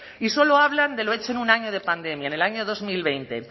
y solo hablan de lo hecho en un año de pandemia en el año dos mil veinte